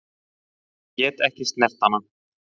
Get ekki snert hana.